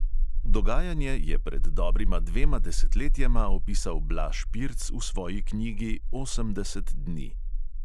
Dogajanje je pred dobrima dvema desetletjema opisal blaž pirc v svoji knjigi "osemdeset dni".